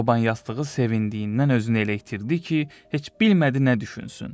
Çoban yastığı sevindiyindən özünü elə itirdi ki, heç bilmədi nə düşünsün.